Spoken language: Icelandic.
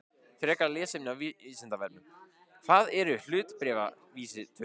Frekara lesefni á Vísindavefnum: Hvað eru hlutabréfavísitölur?